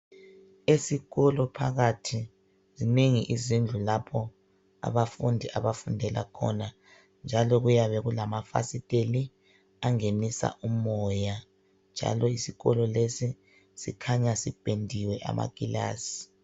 Isikolo phakathi zinengi izindlu lapho abafundi abafundela khona , njalo kuyabe kulamafasiteli angenisa umoya njalo isikolo lesi sikhanya sipendiwe amakilasi.